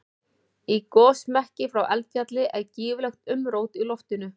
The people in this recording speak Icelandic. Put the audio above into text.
Í gosmekki frá eldfjalli er gífurlegt umrót í loftinu.